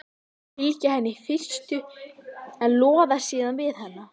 Þau fylgja henni í fyrstu en loða síðan við hana.